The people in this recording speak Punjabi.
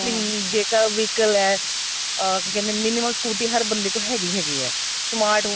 ਜੇਕਰ vehicle ਏ ah ਕੀ ਕਹਿੰਦੇ ਏ minimum scooty ਹਰ ਬੰਦੇ ਕੋਲ ਹੈਗੀ ਹੈਗੀ ਏ smart ਹੁਣ